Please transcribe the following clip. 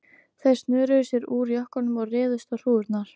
Þeir snöruðu sér úr jökkunum og réðust á hrúgurnar.